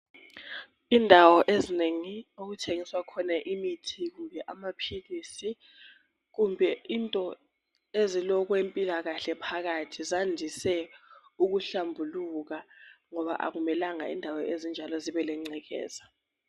Indawo eznengi okuthengiswa khona imithi, kumbe amaphilisi, kumbe into ezolokwempilakahle phakathi zandise ukuhlambuluka ngoba akumelanga indawo ezinjalo zebe lengcekeza.